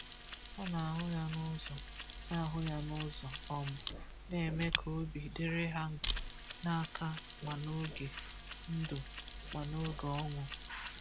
Hà na-ahụ ya n’ụzọ na-ahụ ya n’ụzọ um na-eme ka obi dịrị ha n’aka ma n’oge ndụ ma n’oge ọnwụ.